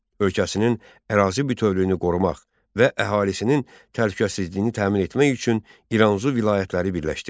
Ölkəsinin ərazi bütövlüyünü qorumaq və əhalisinin təhlükəsizliyini təmin etmək üçün İranzu vilayətləri birləşdirdi.